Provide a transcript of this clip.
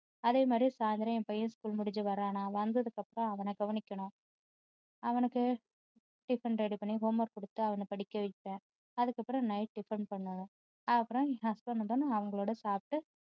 அதே மாதிரி சாயந்தரம் என் பையன் school முடிச்சு வர்றானா வந்ததுக்கு அப்பறம் அவனை கவனிக்கணும் அவனுக்கு tiffin ready பண்ணி homework கொடுத்து அவனை படிக்க வைப்பேன் அதுக்கு அப்பறம் night க்கு tiffin ready பண்ணணும் அப்பறம் husband வந்த உடனே அவங்களோட சாப்பிட்டு